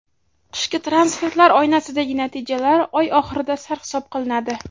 Qishki transferlar oynasidagi natijalar oy oxirida sarhisob qilinadi.